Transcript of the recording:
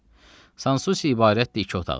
Sansusi ibarətdir iki otaqdan.